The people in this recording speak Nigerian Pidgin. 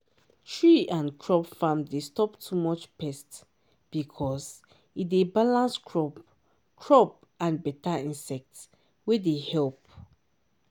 tree and crop farm dey stop too much pest because e dey balance crop crop and better insect wey dey help